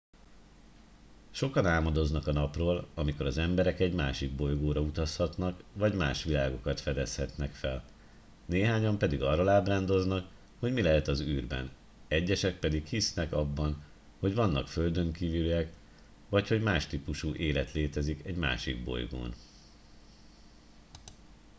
sokan álmodoznak a napról amikor az emberek egy másik bolygóra utazhatnak vagy más világokat fedezhetnek fel néhányan pedig arról ábrándoznak hogy mi lehet az űrben egyesek pedig hisznek abban hogy vannak földönkívüliek vagy hogy más típusú élet létezik egy másik bolygón